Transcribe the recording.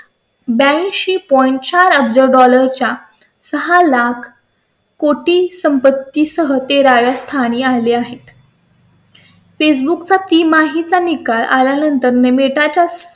ब्या ऐंशी point चार अब्ज च्या सहा लाख कोटी संपत्ती सह तेरा व्या स्थानी आले आहेत. बुक चा तिमाही च्या निकालानंतर ने बेटा च्या समभागात तेजी आली आहे.